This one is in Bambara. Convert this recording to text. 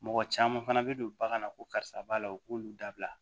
Mɔgɔ caman fana bɛ don bagan na ko karisa b'a la u k'olu dabila